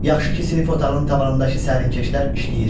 Yaxşı ki, sinif otağının tavanındakı sərinkeşlər işləyir.